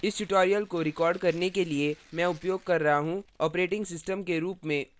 इस tutorial को record करने के लिए मैं उपयोग कर रहा हूँ operating system के रूप में ubuntu 1110